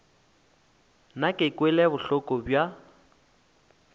nna ke kwele bohloko bja